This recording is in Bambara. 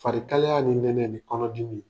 Farikaliya ni nɛnɛ ni kɔnɔdimi